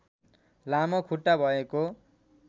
लामो खुट्टा भएको